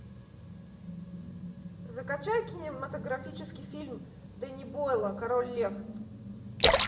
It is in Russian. закачай кинематографический фильм дэнни бойла король лев